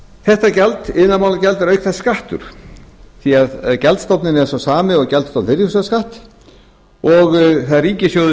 þetta gjald iðnaðarmálagjald er auk þess skattur því gjaldstofninn er sá sami og gjaldstofn virðisaukaskatts og það er ríkissjóður